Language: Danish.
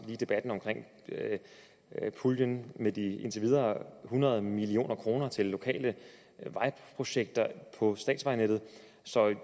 debatten om puljen med de indtil videre hundrede million kroner til lokale vejprojekter på statsvejnettet så